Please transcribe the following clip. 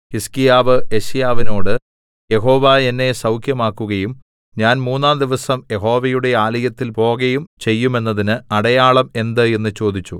ഹിസ്കീയാവ് യെശയ്യാവിനോട് യഹോവ എന്നെ സൗഖ്യമാക്കുകയും ഞാൻ മൂന്നാംദിവസം യഹോവയുടെ ആലയത്തിൽ പോകയും ചെയ്യുമെന്നതിന് അടയാളം എന്ത് എന്ന് ചോദിച്ചു